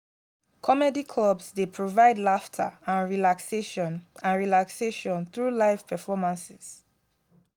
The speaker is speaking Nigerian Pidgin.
comedy clubs dey provide laughter and relaxation and relaxation through live performances.